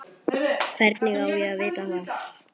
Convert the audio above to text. Hvernig á ég að vita það?